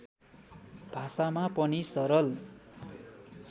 भाषामा पनि सरल